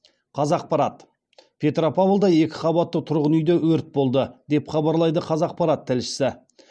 қазақпарат петропавлда екі қабатты тұрғын үйде өрт болды деп хабарлайды қазақпарат тілшісі